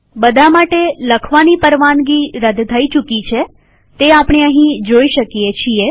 બધા માટે રાઇટ પરવાનગી રદ થઇ ચુકી છે તે અહીંયા આપણે જોઈ શકીએ છીએ